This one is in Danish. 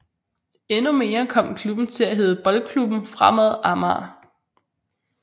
Endnu senere kom klubben til at hedde Boldklubben Fremad Amager